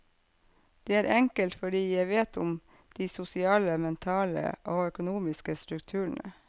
Det er enkelt, fordi jeg vet om de sosiale, mentale og økonomiske strukturene.